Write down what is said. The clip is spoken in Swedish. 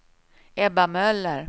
Ebba Möller